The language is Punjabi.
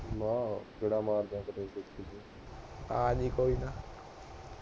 ਆਜੀਂ ਕੋਈ ਨਾ